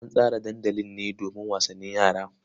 An tsara dandali ne domin wasannin yara.